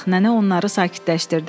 Nənə onları sakitləşdirdi.